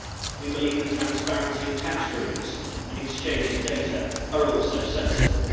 We believe that transparency of tax rulings and exchange of data are also sensible.